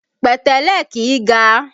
Pẹ̀tẹ́lẹ̀ kìí ga